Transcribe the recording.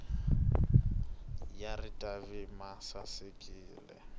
ya ritavi ma sasekile